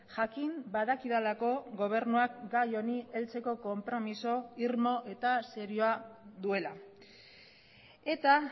jakin badakidalako gobernuak gai honi heltzeko konpromiso irmo eta serioa duela eta